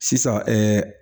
Sisan